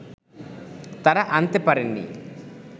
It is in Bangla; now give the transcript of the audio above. তাঁরা আনতে পারেননি